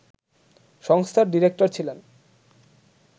সংস্থার ডিরেক্টর ছিলেন